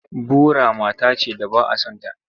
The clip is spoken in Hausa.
Bora mata ce da ba a son ta.